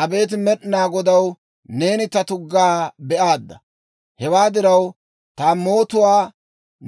Abeet Med'inaa Godaw, neeni ta tuggaa be'aadda. Hewaa diraw, ta mootuwaa